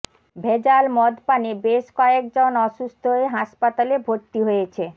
ভেজাল মদপানে বেশ কয়েকজন অসুস্থ হয়ে হাসপাতালে ভর্তি হয়েছে